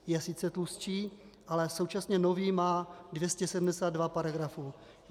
Je sice tlustší, ale současně nový má 272 paragrafů.